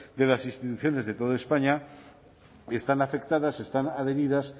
de las instituciones de toda españa están afectadas están adheridas